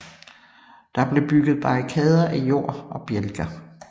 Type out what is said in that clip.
Der blev bygget barrikader af jord og bjælker